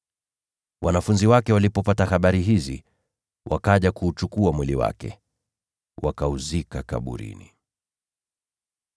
Wanafunzi wa Yohana walipopata habari hizi, wakaja na kuuchukua mwili wake, wakauzika kaburini.